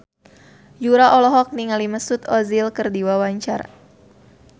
Yura olohok ningali Mesut Ozil keur diwawancara